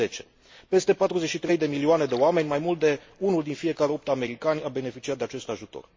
2010. Peste 43 de milioane de oameni, mai mult de unul din fiecare opt americani, a beneficiat de acest ajutor.